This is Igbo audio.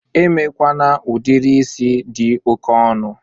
Emekwana udiri is dị oke ọnụ!